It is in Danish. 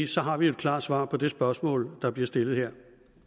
så har vi et klart svar på det spørgsmål der bliver stillet her